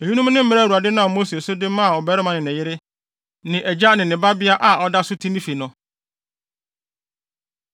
Eyinom ne mmara a Awurade nam Mose so de maa ɔbarima ne ne yere, ne agya ne ne babea a ɔda so te ne fi no.